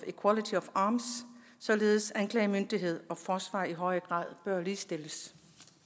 arms således at anklagemyndighed og forsvar i højere grad bør ligestilles